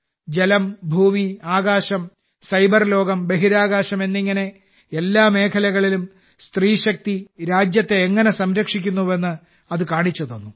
ജലം ഭൂമി ആകാശം സൈബർലോകം ബഹിരാകാശം എന്നിങ്ങനെ എല്ലാ മേഖലകളിലും സ്ത്രീശക്തി രാജ്യത്തെ എങ്ങനെ സംരക്ഷിക്കുന്നുവെന്ന് അത് കാണിച്ചുതന്നു